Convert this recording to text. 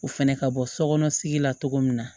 O fɛnɛ ka bɔ sokɔnɔ sigi la cogo min na